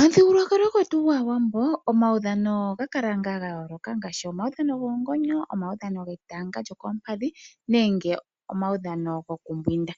Omuthigululwakalo gwetu gwaawambo omaudhano oga kala ngaa gayooloka ngaashi omaudhano gwoongonyo, omaudhano getanga lyokoompadhi nenge omaudhano gwokumbwinda